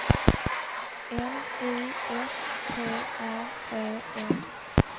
N Y S T R Ö M